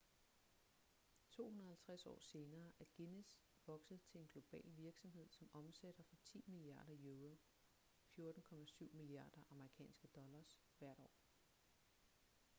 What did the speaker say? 250 år senere er guinness vokset til en global virksomhed som omsætter for 10 milliarder euro 14,7 miliarder us$ hvert år